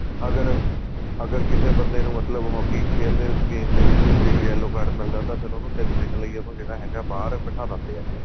ਅਗਰ ਅਗਰ ਕਿਸੇ ਬੰਦੇ ਨੂੰ ਮਤਲਬ hockey ਖੇਲਦੇ game ਦੇ ਵਿੱਚ ਜੇ yellow card ਮਿਲਦਾ ਤਾਂ ਉਹ ਤਿੰਨ ਮਿੰਟ ਲਈ ਜਿਹੜਾ ਹੈਗਾ ਬਾਹਰ ਬਿਠਾ ਦਿੰਦੇ ਏ